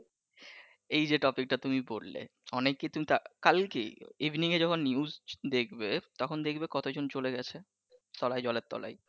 এইযে topic টা তুমি পড়লে, অনেকে কিন্তু তা evening এ যখন নিউজ দেখবে তখন দেখবে কতজন চলে গেছে তলায় জলের তলায়